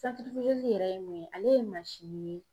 yɛrɛ ye mun ye ale ye ye